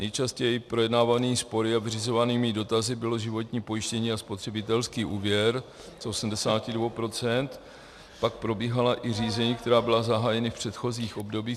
Nejčastěji projednávanými spory a vyřizovanými dotazy bylo životní pojištění a spotřebitelský úvěr z 82 %, pak probíhala i řízení, která byla zahájena v předchozích obdobích.